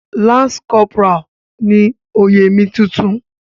Lance corporal ni oyè mi tuntun.